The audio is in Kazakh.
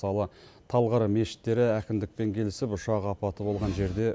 мысалы талғар мешіттері әкімдікпен келісіп ұшақ апаты болған жерде